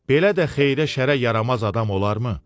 "Belə də xeyrə-şərə yaramaz adam olarmı?"